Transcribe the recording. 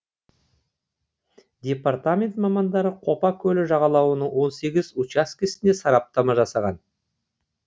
департамент мамандары қопа көлі жағалауының он сегіз учаскесіне сараптама жасаған